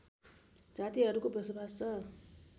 जातिहरूको बसोबास छ